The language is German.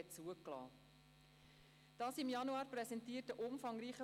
Man dürfte sich auch früher anmelden.